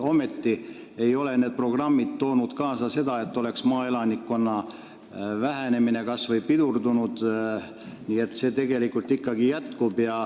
Ometi ei ole need programmid toonud kaasa seda, et maaelanikkonna vähenemine oleks kas või pidurdunud, see tegelikult ikkagi jätkub.